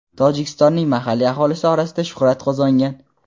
Tojikistonning mahalliy aholisi orasida shuhrat qozongan.